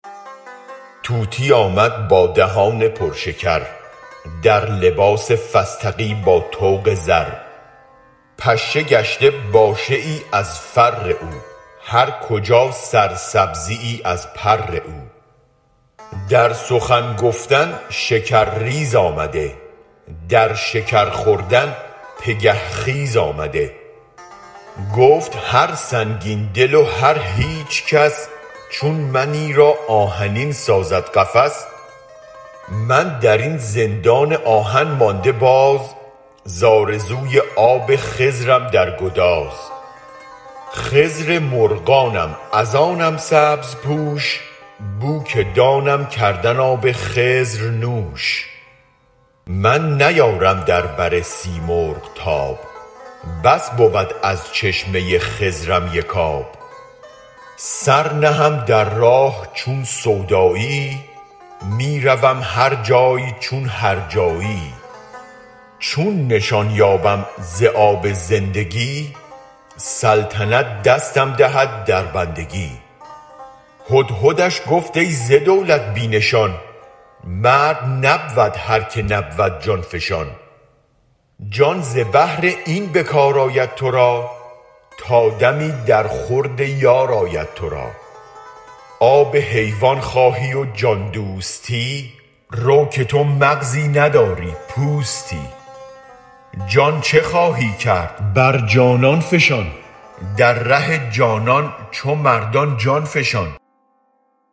طوطی آمد با دهان پر شکر در لباس فستقی با طوق زر پشه گشته باشه ای از فر او هر کجا سرسبزیی از پر او در سخن گفتن شکرریز آمده در شکر خوردن پگه خیز آمده گفت هر سنگین دل و هر هیچ کس چون منی را آهنین سازد قفس من در این زندان آهن مانده باز زآرزوی آب خضرم در گداز خضر مرغانم از آنم سبزپوش بوک دانم کردن آب خضر نوش من نیارم در بر سیمرغ تاب بس بود از چشمه خضرم یک آب سر نهم در راه چون سوداییی می روم هر جای چون هر جاییی چون نشان یابم ز آب زندگی سلطنت دستم دهد در بندگی هدهدش گفت ای ز دولت بی نشان مرد نبود هرک نبود جان فشان جان ز بهر این به کار آید تو را تا دمی در خورد یار آید تو را آب حیوان خواهی و جان دوستی رو که تو مغزی نداری پوستی جان چه خواهی کرد بر جانان فشان در ره جانان چو مردان جان فشان